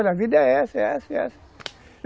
Olha, a vida é essa, é essa, é essa.